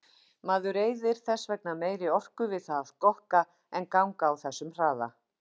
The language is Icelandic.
Maður eyðir þess vegna meiri orku við það að skokka en ganga á þessum hraða.